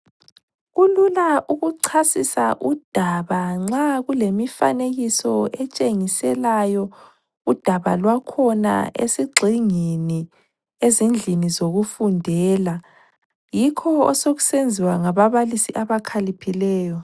Kulula ukuchasisa udaba nxa kulemifanekiso etshengiselayo udaba lwakhona esigxingini ezindlini zokufundela, yikho osekusenziwa ngababalisi abakhiliphileyo